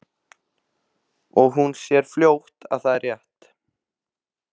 Og hún sér fljótt að það er rétt.